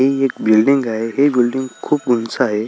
हि एक बिल्डींग आहे हि बिल्डींग खूप उंच आहे.